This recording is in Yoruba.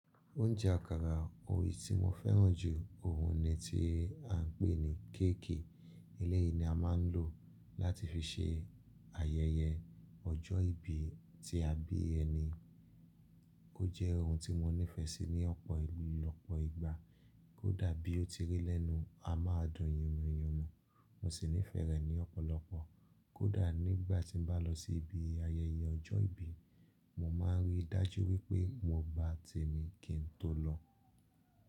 Oúnjẹ àkàrà eyi tí mo fẹ́ràn jù ọ̀hún ni tí a ń pè ní cake. Eléyìí ni a máa ń lò láti fi ṣe ayẹyẹ ọjọ́ ìbí tí a bí ẹni. Ó jẹ́ ohun tí mo nífẹ̀ẹ́ sí ní ọ̀pọ̀ ìlú ọ́pọ̀ ìgbà, kódà bí ó ti rí lẹ́nu amadùn yínmuyinmu. Mo sì nífẹ̀ẹ́ rẹ̀ ní ọ̀pọ̀lọpọ̀, kódà nígbà tí n bá lọ sí ibi ayẹyẹ ọjọ́ ìbí, mo máa ń rí dájú wípé mo gbá tèmi kí n tó lọ.